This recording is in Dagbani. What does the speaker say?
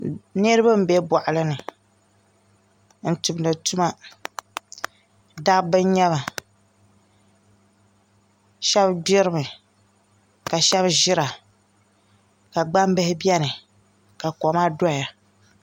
Niraba n bɛ boɣali ni n tumdi tuma dabba n nyɛba shab gbirimi ka shab ʒira ka gbambihi biɛni ka koma doya